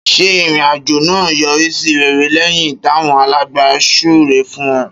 Ṣé ìrìn àjò náà yọrí sí rere lẹ́yìn táwọn alàgbà súre fún un?